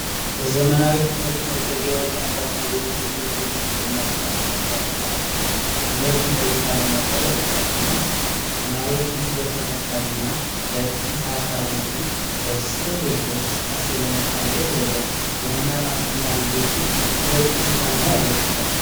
የዘመናዊ ትምህርት አንዱ አካል የሆኑት የፕሮጀክተር እናስመር አጠቃቀም ትምህርትን በይታ ለማቅረብ ያስችላል ይህም የተማሪዎችን ትኩረት ለመሳብና ሀሳቦችን በስዕል ወይም በእንቅስቃሴን ለማሳየት ይረዳል ማስተማሪ ቤቱ ውጤታማ ያደርጉታል